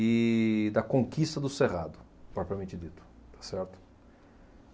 e da conquista do cerrado, propriamente dito, tá certo?